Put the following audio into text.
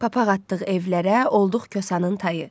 Papaq atdıq evlərə, olduq Kosanın tayı.